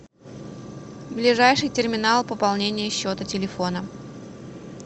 ближайший терминал пополнения счета телефона